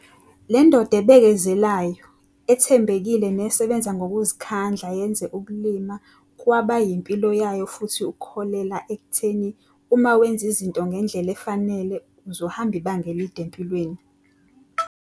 Le ndoda ebekezelayo, ethembekile nesebenza ngokuzikhandla yenze ukulima kwaba yimpilo yayo futhi ukholelwa ekutheni uma wenza izinto ngendlela efanele uzohamba ibanga elide empilweni.